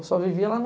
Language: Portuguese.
Eu só vivia lá